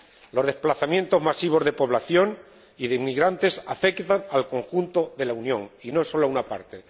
Los desplazamientos masivos de población y de inmigrantes afectan al conjunto de la Unión y no sólo a una parte.